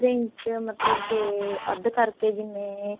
ਮਤਲਬ ਕਿ ਅੱਧ ਕਰਕੇ ਜਿਵੇਂ